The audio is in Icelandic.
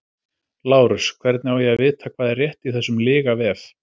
LÁRUS: Hvernig á ég að vita hvað er rétt í þessum lygavef?